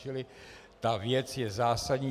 Čili ta věc je zásadní.